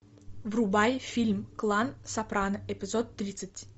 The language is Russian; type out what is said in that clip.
врубай фильм клан сопрано эпизод тридцать